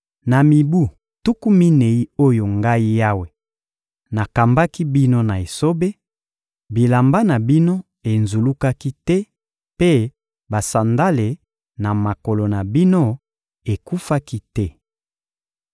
Na mibu tuku minei oyo Ngai Yawe nakambaki bino na esobe, bilamba na bino enzulukaki te mpe basandale na makolo na bino ekufaki te.